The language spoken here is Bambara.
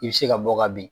I bɛ se ka bɔ ka bin